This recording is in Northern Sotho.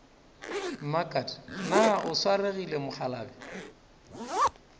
mmakat na o swaregile mokgalabje